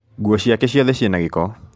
Nguo ciake ciothe ciĩna gĩko